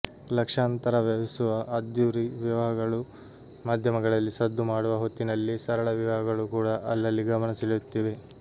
ಲಕ್ಷಾಂತರ ವ್ಯಯಿಸುವ ಅದ್ಧೂರಿ ವಿವಾಹಗಳು ಮಾಧ್ಯಮಗಳಲ್ಲಿ ಸದ್ದು ಮಾಡುವ ಹೊತ್ತಿನಲ್ಲೇ ಸರಳ ವಿವಾಹಗಳು ಕೂಡ ಅಲ್ಲಲ್ಲಿ ಗಮನ ಸೆಳೆಯುತ್ತಿವೆ